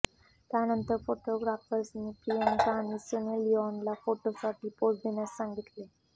त्यानंतर फोटोग्राफर्सनी प्रियांका आणि सनी लिऑनला फोटोसाठी पोझ देण्यास सांगितले